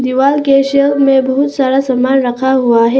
दीवाल के शेल में बहुत सारा सामान रखा हुआ है।